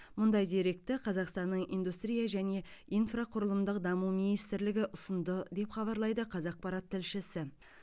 мұндай деректі қазақстанның индустрия және инфрақұрылымдық даму министрлігі ұсынды деп хабарлайды қазақпарат тілшісі